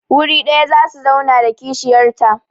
Wuri ɗaya za su zauna da kishiyarta.